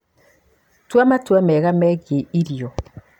Tua matua mega megiĩ irio.